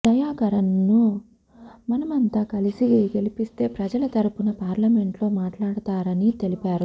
దయాకరన్నను మనమంతా కలిసి గెలిపిస్తే ప్రజల తరపున పార్లమెంట్లో మాట్లాడతారని తెలిపారు